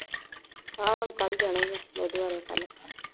ਹਾਂ ਹੁਣ ਕੱਲ ਜਾਣਾ ਏ ਲੁਧਿਆਣਾ ਕੱਲ।